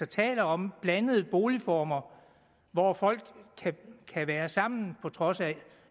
taler om blandede boligformer hvor folk kan være sammen på trods af